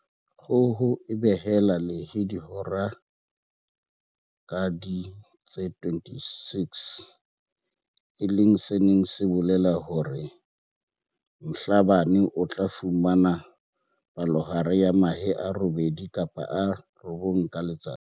Kgoho e behela lehe dihora ka ding tse 26, e leng se neng se bolela hore Mhlabane o tla fumana palohare ya mahe a robedi kapa a robong ka letsatsi.